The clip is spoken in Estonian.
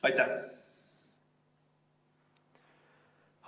Aitäh!